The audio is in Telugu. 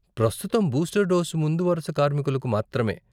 ప్రస్తుతం బూస్టర్ డోసు ముందు వరుస కార్మికులకు మాత్రమే.